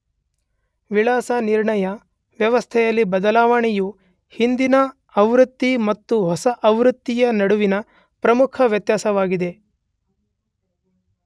ವಿಳಾಸ ನಿರ್ಣಯ ವ್ಯವಸ್ಥೆಯಲ್ಲಿ ಬದಲಾವಣೆಯು ಹಿಂದಿನ ಆವೃತ್ತಿ ಮತ್ತು ಹೊಸ ಆವೃತ್ತಿಯ ನಡುವಿನ ಪ್ರಮುಖ ವ್ಯತ್ಯಾಸವಾಗಿದೆ.